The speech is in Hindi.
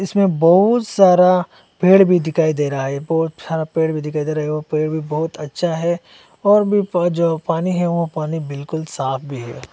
इसमें बहुत सारा पेड़ भी दिखाई दे रहा है बहुत सारा पेड़ भी दिखाई दे रहे ओ पेड़ भी बहुत अच्छा है और भी बहुत जो पानी है वो पानी बिल्कुल साफ भी है।